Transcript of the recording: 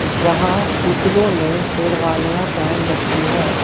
यहां पुतलों ने शेरवानियां पहन रखी है।